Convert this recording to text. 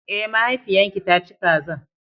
Eh, mahaifiyan ki ta ci kazan.